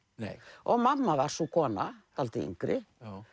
og mamma var sú kona dálítið yngri